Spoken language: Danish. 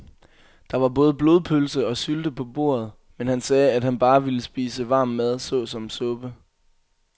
Der var både blodpølse og sylte på bordet, men han sagde, at han bare ville spise varm mad såsom suppe.